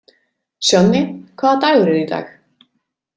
Sjonni, hvaða dagur er í dag?